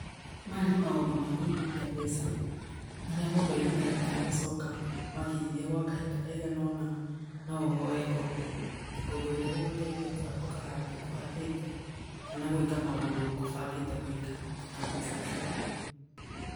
Maya nĩ maũndũ ma kũigithia mbeca, marĩa mũndũ aigithagia ũgacoka wakĩigithia gwa kahinda kaigana ona, no ũhoe ngombo, ngombo ĩria ĩgũgũteithia kũhatũka handũ ũkũhatite, kana gwĩka maũndũ ũkũbangĩte gwĩka, na mbeca icio.